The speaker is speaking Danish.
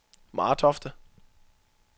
Martofte